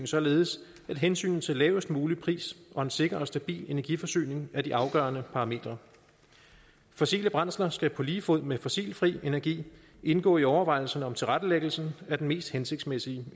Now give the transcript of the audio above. således at hensynet til lavest mulig pris og en sikker og stabil energiforsyning er de afgørende parametre fossile brændsler skal på lige fod med fossilfri energi indgå i overvejelserne om tilrettelæggelsen af den mest hensigtsmæssige